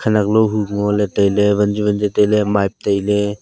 khanaklo hu ngole taile vanzu vanzu taile mipe taile.